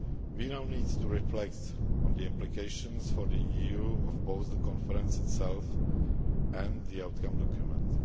We now need to reflect on the implications for the EU of both the conference itself and the outcome document.